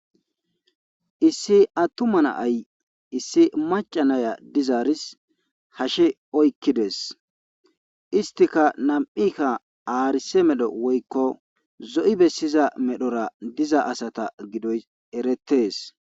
Issi attuma na'ay issi maca na'ya dizaaris hashe oykkides istikka nam'ikka aarise medho woykko zo'i bessiza medhora diza asata gidoy erettes